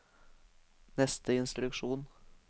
neste instruksjon